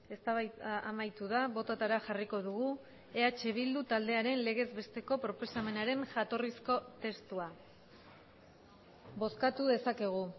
eztabaida amaitu da bototara jarriko dugu eh bildu taldearen legez besteko proposamenaren jatorrizko testua bozkatu dezakegu